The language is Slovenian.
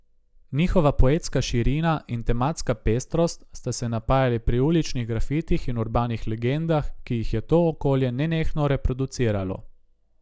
Njihova poetska širina in tematska pestrost sta se napajali pri uličnih grafitih in urbanih legendah, ki jih je to okolje nenehno reproduciralo.